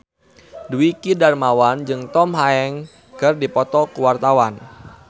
Dwiki Darmawan jeung Tom Hanks keur dipoto ku wartawan